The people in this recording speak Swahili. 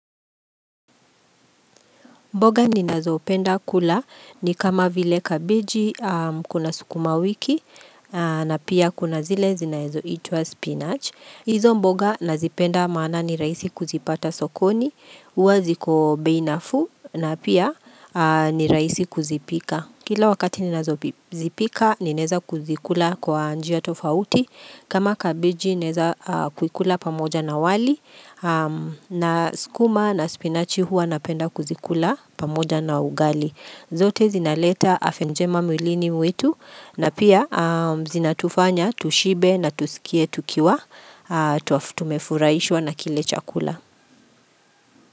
Mboga ninazopenda kula ni kama vile kabeji kuna sukuma wiki na pia kuna zile zinaezoitwa spinach. Izo mboga nazipenda maana ni rahisi kuzipata sokoni, huwa ziko bei nafuu na pia ni rahisi kuzipika. Kila wakati ninazozipika nineza kuzikula kwa njia tofauti. Kama kabeji nezakukula pamoja na wali na sukuma na spinach huwa napenda kuzikula. Pamoja na ugali zote zinaleta afya njema mwilini wetu na pia zinatufanya tushibe na tusikie tukiwa Tumefuraishwa na kile chakula.